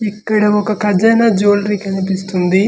ఇక్కడ ఒక ఖజానా జివేలరీ కనిపిస్తుంది .